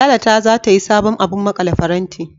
Lala ta zata sayi sabon abun maƙale faranti.